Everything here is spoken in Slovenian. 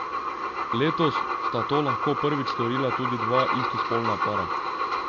Letos sta to lahko prvič storila tudi dva istospolna para.